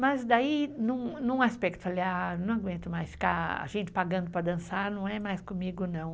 Mas daí, num aspecto, falei, ah, não aguento mais ficar a gente pagando para dançar, não é mais comigo não.